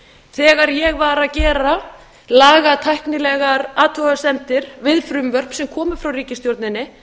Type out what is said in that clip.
þegar ég var að gera lagatæknilegar athugasemdir við frumvörp sem komu frá ríkisstjórninni